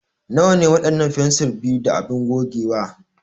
Nawa ne waɗannan fensir 2 da abin gogewa?